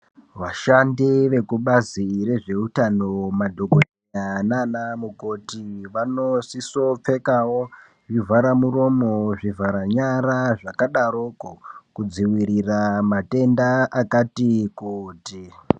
Vashandi vekubazi re zveutano madhokodheya nana mukoti vano siso pfekawo zvivhara muromo zvivhara nyara zvakadaroko kudzivirira matenda akati kuti.